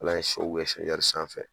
Ala ye sanfɛ